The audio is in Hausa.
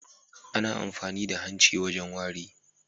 Ana amfani da hanci wajen wari.